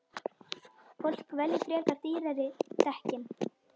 Fólk velji frekar dýrari dekkin.